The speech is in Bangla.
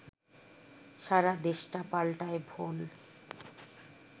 সারা দেশটা পাল্টায় ভোল